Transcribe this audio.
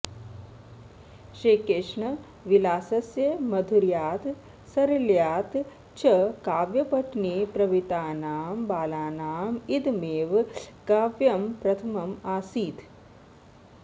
श्रीकृष्णविलासस्य माधुर्यात् सारल्यात् च काव्यपठने प्रवृत्तानां बालानां इदमेव काव्यम् प्रथमम् आसीत्